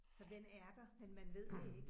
Så den er der, men man ved det ikke